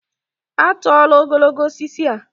A tụọla ogologo osisi a.